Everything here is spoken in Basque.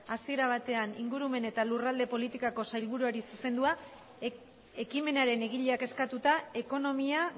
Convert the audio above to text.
asiera batean ingurumen eta lurralde politikako sailburuari zuzendua ekimenaren egileak eskatuta ekonomia